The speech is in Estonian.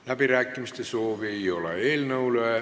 Läbirääkimiste soovi ei ole.